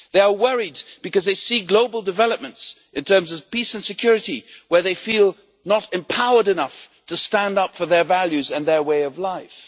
They are worried because they see global developments in terms of peace and security, where they do not feel empowered enough to stand up for their values and their way of life.